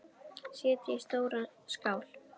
Setjið í stóra skál.